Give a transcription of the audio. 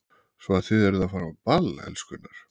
Svo að þið eruð að fara á ball, elskurnar?